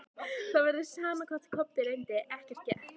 Það var sama hvað Kobbi reyndi, ekkert gekk.